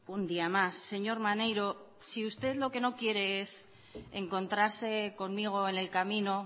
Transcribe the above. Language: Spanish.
un día más señor maneiro si usted lo que no quiere es encontrarse conmigo en el camino